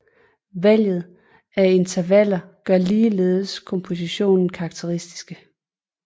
Valget af intervaller gør ligeledes kompositionerne karakteristiske